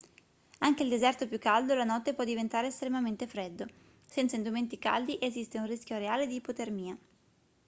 anche il deserto più caldo la notte può diventare estremamente freddo senza indumenti caldi esiste un rischio reale di ipotermia